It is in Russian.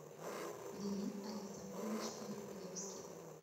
лилит александрович евглевский